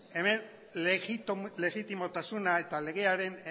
hemen legitimotasuna eta legearen